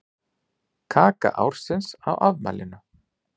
Kaka ársins á afmælinu